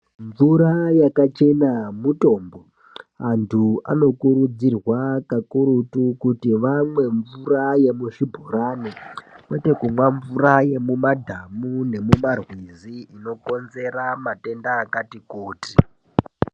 Mvura yakachena mutombo antu. Anokurudzirwa kakurutu kuti vamwe mvura yemuzvibhorani kwete kumwa mvura yemumadhamu nemumarwizi, inokonzera matenda akati kuti.